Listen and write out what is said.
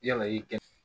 Yala i kɛ